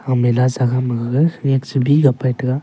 mela sa gam magaga mix sabi le pai tega.